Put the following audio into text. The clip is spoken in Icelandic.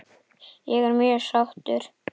Ég er mjög sáttur